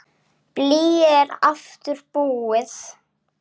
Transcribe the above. Blýið er aftur búið.